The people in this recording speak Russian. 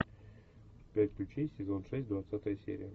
пять ключей сезон шесть двадцатая серия